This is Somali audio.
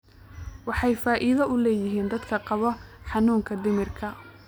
Waxay faa'iido u leeyihiin dadka qaba xanuunka dhimirka.